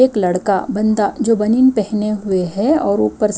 एक लड़का बंदा जो बनीन पहने हुए है और ऊपर--